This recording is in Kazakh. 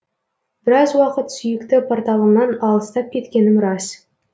біраз уақыт сүйікті порталымнан алыстап кеткенім рас